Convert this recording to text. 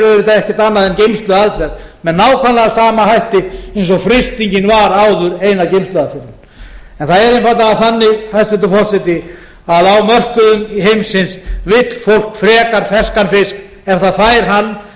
auðvitað ekkert annað en geymsluaðferð með nákvæmlega sama hætti og frystingin var áður eina geymsluaðferðin það er einfaldlega þannig hæstvirtur forseti að á mörkuðum heimsins vill fólk frekar ferskan fisk ef það fær hann